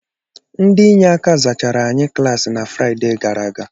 Ndị inyeaka zachara anyị klaasị na Fraịde gara aga